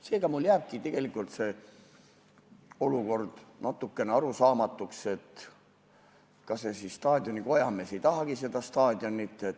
Seega jääbki mulle see olukord natukene arusaamatuks, et kas see staadioni kojamees siis ei tahagi seda staadioni koristada.